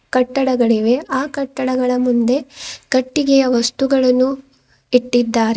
ಕಟ್ಟಡಗಳಿವೆ ಆ ಕಟ್ಟಡಗಳ ಮುಂದೆ ಕಟ್ಟಿಗೆಯ ವಸ್ತುಗಳನ್ನು ಇಟ್ಟಿದ್ದಾರೆ.